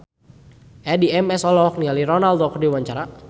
Addie MS olohok ningali Ronaldo keur diwawancara